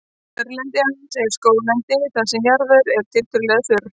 kjörlendi hans er skóglendi þar sem jarðvegur er tiltölulega þurr